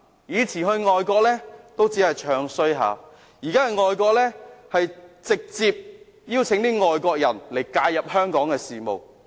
他們過往到外國只是"唱衰"香港，現在到外國則直接邀請外國人介入香港事務。